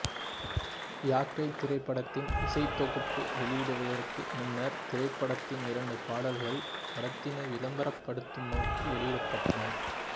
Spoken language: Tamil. யாக்கை திரைப்படத்தின் இசைத்தொகுப்பு வெளியிடப்படுவதற்கு முன்னர் திரைப்படத்தின் இரண்டு பாடல்கள் படத்தினை விளம்பரப் படுத்தும் நோக்கில் வெளியிடப்பட்டன